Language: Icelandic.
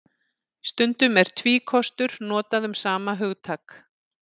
Stundum er tvíkostur notað um sama hugtak.